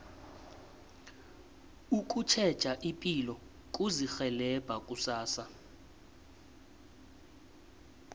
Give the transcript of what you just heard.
ukutjheja ipilo kuzirhelebha kusasa